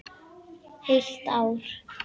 Heilt ár!